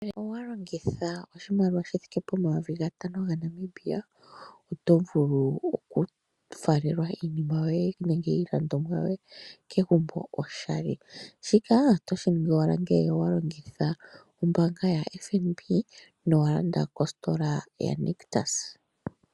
Ngele owa longitha oshimaliwa shi thike po mayovi gatano gaNamibia oto vulu okufalelwa iinima yoye nenge iilandomwa yoye kegumbo oshali. Shika otoshi ningi owala ngele owa longitha ombaanga yaFNB na owalanda kositola yaNictus.